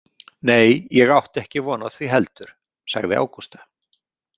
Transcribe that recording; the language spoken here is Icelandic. Nei, ég átti ekki von á því heldur, sagði Ágústa.